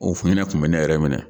O hinɛ tun bɛ ne yɛrɛ minɛ.